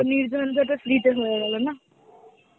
নির ঝঞ্ঝাটে free তে হয়ে গেল না?